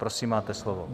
Prosím, máte slovo.